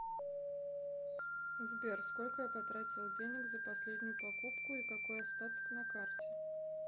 сбер сколько я потратила денег за последнюю покупку и какой остаток на карте